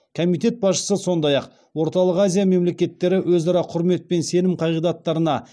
комитет басшысы сондай ақ орталық азия мемлекеттері өзара құрмет пен сенім қағидаттарына